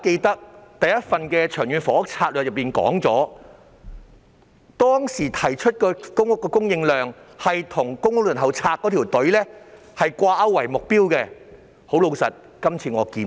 第一份《長遠房屋策略》提出的公屋供應量目標是與公屋輪候冊的輪候人數掛鈎，但這次我卻看不到。